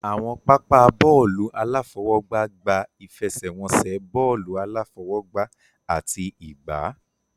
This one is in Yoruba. Àwọn pápá bọ́ọ̀lù aláfọwọ́gbá gba ìfẹsẹ̀wọnsẹ̀ bọ́ọ̀lù aláfọwọ́gbá àti ìgbá